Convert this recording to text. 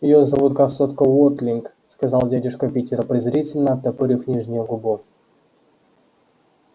её зовут красотка уотлинг сказал дядюшка питер презрительно оттопырив нижнюю губу